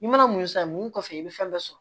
I mana mun san mun kɔfɛ i bɛ fɛn bɛɛ sɔrɔ